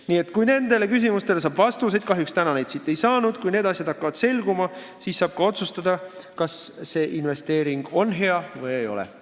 Nii et kui nendele küsimustele saab vastuseid – kahjuks täna neid siit ei saanud –, kui need asjad hakkavad selguma, siis saab ka otsustada, kas see investeering on hea või ei ole.